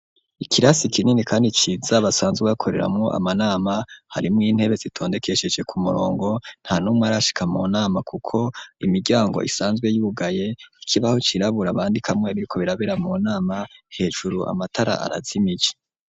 Ikirasi kinini kandi ciza basanzwe bakoreramwo amanama harimwo intebe zitondekesheje ku murongo ntanumwe arashika mu nama kuko imiryango isanzwe yugaye ikibaho cirabura bandikamwe ibiriko birabera mu nama hejuru amatara arazimije.